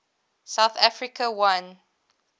south africa won